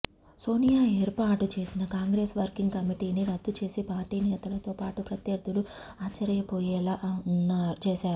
సోనియా ఏర్పాటు చేసిన కాంగ్రెస్ వర్కింగ్ కమిటీని రద్దు చేసి పార్టీ నేతలతో పాటు ప్రత్యర్థులు ఆశ్చర్యపోయేలా చేశారు